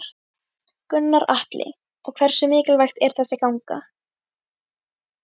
Gunnar Atli: Og hversu mikilvægt er þessi ganga?